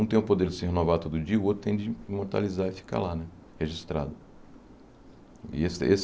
Um tem o poder de se renovar todo dia, o outro tem de imortalizar e ficar lá né, registrado.